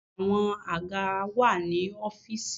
Àwọn àga wà ní ọ́fìsì.